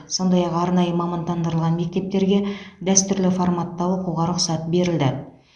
сондай ақ арнайы мамандандырылған мектептерге дәстүрлі форматта оқуға рұқсат берілді